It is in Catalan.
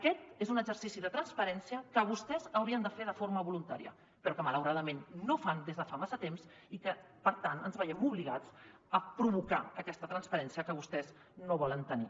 aquest és un exercici de transparència que vostès haurien de fer de forma voluntària però que malauradament no fan des de fa massa temps i que per tant ens veiem obligats a provocar aquesta transparència que vostès no volen tenir